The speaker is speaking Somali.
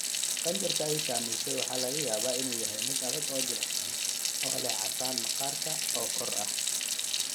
Qanjirka ay saameysay waxaa laga yaabaa inuu yahay mid adag oo jilicsan, oo leh casaan maqaarka oo kor ah.